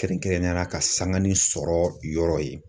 Kɛrɛnkɛrɛnnenya la ka sangani sɔrɔ yɔrɔ ye.